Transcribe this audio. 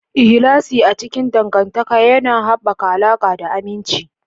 Ikhlasi a cikin dangantaka yana haɓaka alaƙa da aminci.